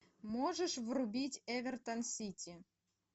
можешь врубить эвертон сити